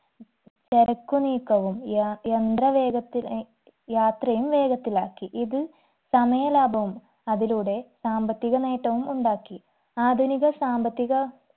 ചരക്കു നീക്കവും യ യന്ത്ര വേഗത്തിലേ യാത്രയും വേഗത്തിലാക്കി ഇത് സമയലാഭവും അതിലൂടെ സാമ്പത്തിക നേട്ടവും ഉണ്ടാക്കി ആധുനിക സാമ്പത്തിക